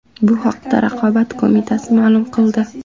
Bu haqda Raqobat qo‘mitasi ma’lum qildi .